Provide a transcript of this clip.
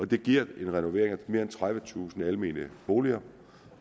det giver en renovering af mere end tredivetusind almene boliger